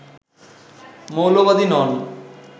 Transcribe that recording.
মৌলবাদী নন